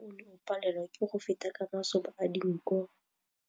Mowa o ne o palelwa ke go feta ka masoba a dinko.